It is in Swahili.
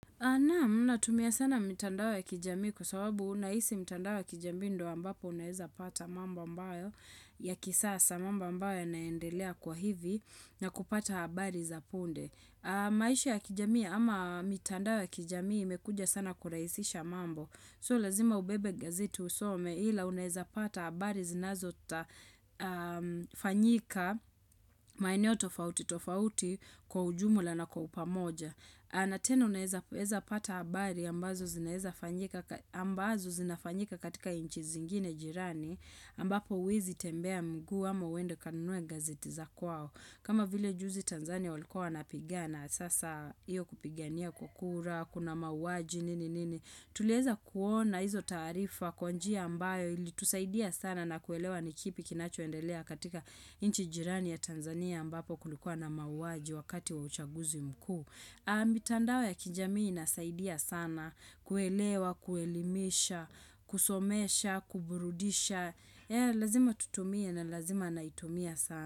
Naam natumia sana mitandao ya kijamii kwa sababu nahisi mtandao wa kijamii ndio ambapo naeza pata mambo ambayo ya kisasa mambo ambayo yanaendelea kwa hivi na kupata habari za punde. Maisha ya kijamii ama mitandao ya kijamii imekuja sana kurahisisha mambo. So lazima ubebe gazeti usome ila unaeza pata habari zinazota fanyika maeneo tofauti tofauti kwa ujumula na kwa upamoja. Na tena unaeza pata habari ambazo zinafanyika katika nchi zingine jirani ambapo huwezi tembea mguu ama uende ukanunue gazeti za kwao. Kama vile juzi Tanzania walikua wanapigana sasa hiyo kupigania kukura, kuna mauaji nini nini. Tulieza kuona hizo taarifa kwa njia ambayo ilitusaidia sana na kuelewa ni kipi kinachoendelea katika nchi jirani ya Tanzania ambapo kulikuwa na mauaji wakati wa uchaguzi mkuu. Mitandao ya kijamii inasaidia sana kuelewa, kuelimisha, kusomesha, kuburudisha. Lazima tutumie na lazima naitumia sana.